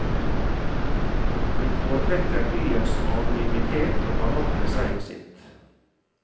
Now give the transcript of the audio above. De foretrekker byens anonymitet og har nok med seg og sitt.